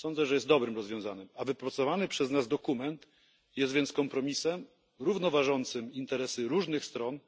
jest dobrym rozwiązaniem, a wypracowany przez nas dokument jest kompromisem równoważącym interesy różnych stron.